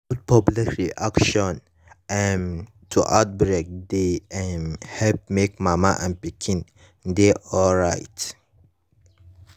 good public reaction um to outbreak dey um help make mama and pikin dey alright